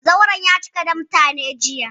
Zauren ya cika da mutane, jiya.